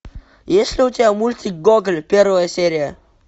есть ли у тебя мультик гоголь первая серия